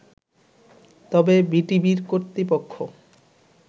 তবে বিটিভির কর্তৃপক্ষ